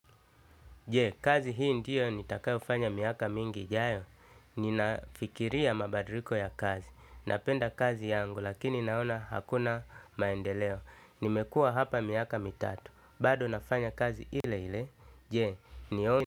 Je, kazi hii ndiyo nitakayofanya miaka mingi ijayo. Ninafikiria mabadiriko ya kazi. Napenda kazi yangu lakini naona hakuna maendeleo. Nimekua hapa miaka mitatu. Bado nafanya kazi ile ile. Je, niombe.